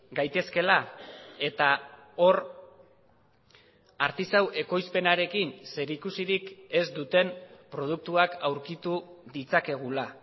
gaitezkela eta hor artisau ekoizpenarekin zerikusirik ez duten produktuak aurkitu ditzakegula